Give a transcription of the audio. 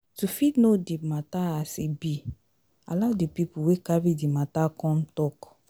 to fit know di matter as e be allow di pipo wey carry the matter come talk